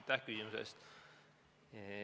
Aitäh küsimuse eest!